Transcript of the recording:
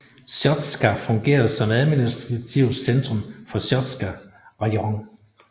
Sjostka fungerer som administrativt centrum for Sjostka rajon